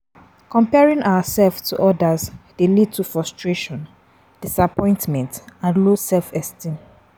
Comparing ourselves to odas dey lead to frustration, disappointment and low self-esteem.